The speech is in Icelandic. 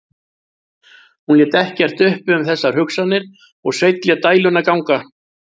Hún lét ekkert uppi um þessar hugsanir og Sveinn lét dæluna ganga.